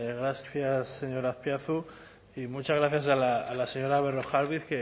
gracias señor azpiazu y muchas gracias a la señora berrojalbiz